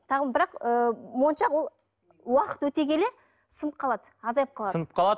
бірақ ы моншақ ол уақыт өте келе сынып қалады азайып қалады сынып қалады